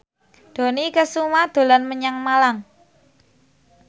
Dony Kesuma dolan menyang Malang